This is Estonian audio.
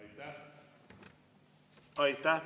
Aitäh!